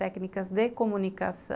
Técnicas de comunicação.